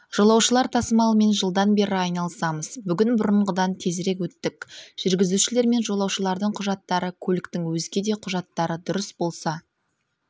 жолаушылар тасымалымен жылдан бері айналысамыз бүгін бұрынғыдан тезірек өттік жүргізушілер мен жолаушылардың құжаттары көліктің өзге де құжаттары дұрыс болса